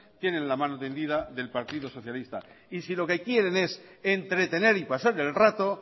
tienen la mano tendida del partido socialista y si lo que quieren es entretener y pasar el rato